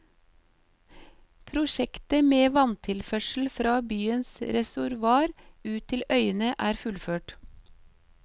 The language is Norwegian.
Prosjektet med vanntilførsel fra byens reservoar ut til øyene er fullført.